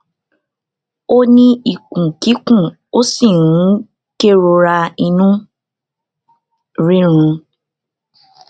ó ní ikun kikun ó sì ń kerora inu rirun